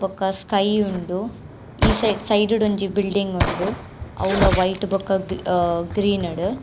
ಬೊಕ್ಕ ಸ್ಕೈ ಉಂಡು ಈ ಸೈಡ್ ಸೈಡ್ ಡೊಂಜಿ ಬಿಲ್ಡಿಂಗ್ ಉಂಡು ಅವುಲ ವೈಟ್ ಬೊಕ ಅಹ್ ಗ್ರೀನ್ ಡ್.